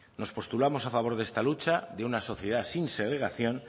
nos postulamos a favor de esta lucha de una sociedad sin segregación